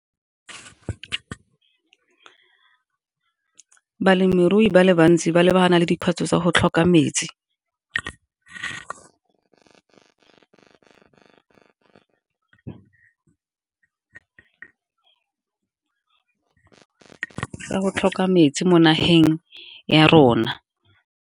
Ke balemirui ba le bantsi ba lebana le dikgwetlho tsa go tlhoka metsi, ke ka go tlhoka metsi mo nageng ya rona.